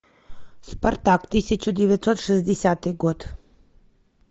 спартак тысяча девятьсот шестидесятый год